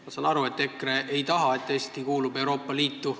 Ma saan aru, et EKRE ei taha, et Eesti kuulub Euroopa Liitu.